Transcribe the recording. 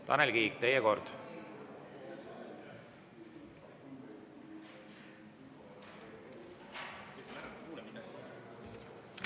Tanel Kiik, teie kord!